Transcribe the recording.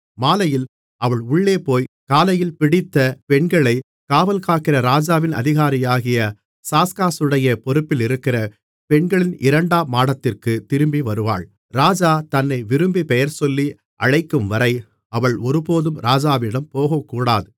மாலையில் அவள் உள்ளே போய் காலையில் பிடித்த பெண்களைக் காவல்காக்கிற ராஜாவின் அதிகாரியாகிய சாஸ்காசுடைய பொறுப்பில் இருக்கிற பெண்களின் இரண்டாம் மாடத்திற்குத் திரும்பிவருவாள் ராஜா தன்னை விரும்பிப் பெயர்சொல்லி அழைக்கும்வரை அவள் ஒருபோதும் ராஜாவிடம் போகக்கூடாது